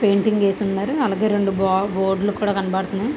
Painting వేసి ఉన్నారు. అలాగే రెండు బ బోర్డు లు కూడ కనబడుతున్నాయి.